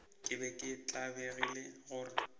ke be ke tlabegile gore